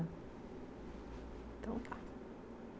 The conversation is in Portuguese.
Então, tá.